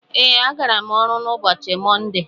Ee, agara m ọrụ n'ụbọchị mọnde.